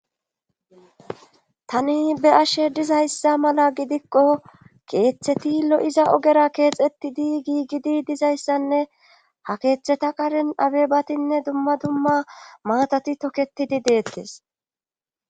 tani be ashe dizayssa mala gidikko keeththeti lo7iza ogera keexettidi giigidi dizayssanne ha keeththeta qaren abebatinne dumma dumma maatati toketidi deettes